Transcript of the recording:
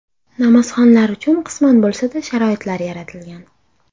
Namozxonlar uchun qisman bo‘lsa-da sharoitlar yaratilgan.